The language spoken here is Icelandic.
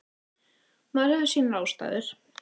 Maður hefur sínar ástæður.